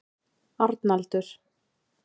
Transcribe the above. Arnaldur